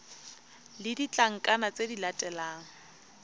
le ditlankana tse di latelang